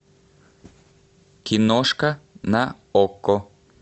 киношка на окко